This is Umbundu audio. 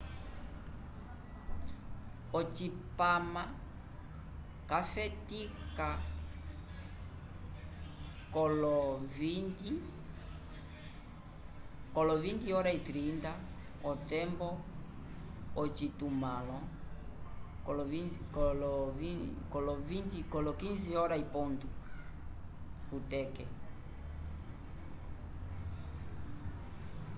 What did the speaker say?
ocipama cafetika kolo 20h30 otembo yocitumãlo 15h00 utc